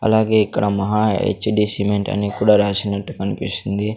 అలాగే ఇక్కడ Maha H D cement అని కూడా రాసినట్టు కన్పిస్తుంది.